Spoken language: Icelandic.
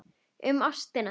Um ástina.